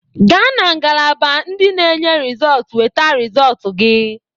Gaa na ngalaba ndị na enye rịzọt weta resọt gị!